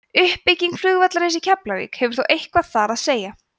uppbygging flugvallarins í keflavík hafði þó eitthvað þar að segja